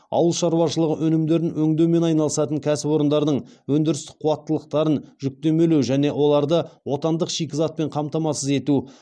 ауыл шаруашылығы өнімдерін өңдеумен айналысатын кәсіпорындардың өндірістік қуаттылықтарын жүктемелеу және оларды отандық шикізатпен қамтамасыз ету